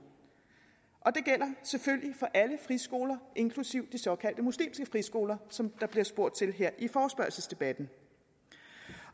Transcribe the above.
og det gælder selvfølgelig for alle friskoler inklusive de såkaldte muslimske friskoler som der bliver spurgt til her i forespørgselsdebatten